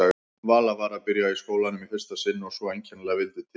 Vala var að byrja í skólanum í fyrsta sinn og svo einkennilega vildi til að